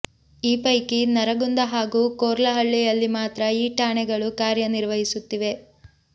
ಈ ಪೈಕಿ ನರಗುಂದ ಹಾಗೂ ಕೊರ್ಲಹಳ್ಳಿಯಲ್ಲಿ ಮಾತ್ರ ಈ ಠಾಣೆಗಳು ಕಾರ್ಯನಿರ್ವಹಿಸುತ್ತಿವೆ